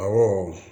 Awɔ